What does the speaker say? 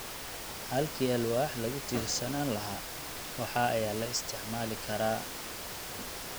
Halkii alwaax lagu tiirsanaan lahaa, wax ayaa la isticmaali karaa.